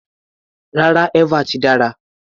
Rárá, eva ti dára.